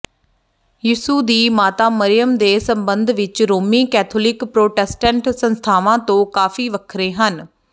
ਯਿਸੂ ਦੀ ਮਾਤਾ ਮਰਿਯਮ ਦੇ ਸੰਬੰਧ ਵਿਚ ਰੋਮੀ ਕੈਥੋਲਿਕ ਪ੍ਰੋਟੈਸਟੈਂਟ ਸੰਸਥਾਵਾਂ ਤੋਂ ਕਾਫੀ ਵੱਖਰੇ ਹਨ